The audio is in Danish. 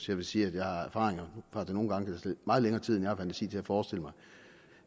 jeg vil sige at jeg har erfaringer for at det nogle gange kan tage meget længere tid end jeg har fantasi til forestille mig